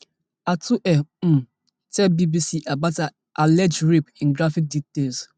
atuhaire um tell bbc about her alleged rape in graphic detail